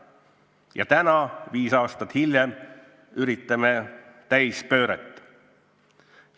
Ja nüüd, viis aastat hiljem, üritame täispööret.